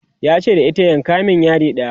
yace da ita ki "yanka min yadi ɗaya!"